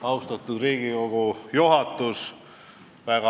Austatud Riigikogu juhatus!